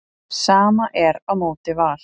Sama er á móti Val.